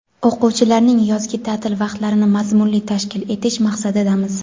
o‘quvchilarning yozgi taʼtil vaqtlarini mazmunli tashkil etish maqsadidamiz.